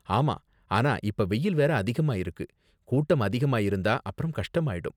ஆமா, ஆனா இப்ப வெயில் வேற அதிகமா இருக்கு, கூட்டம் அதிகமா இருந்தா அப்பறம் கஷ்டமாயிடும்.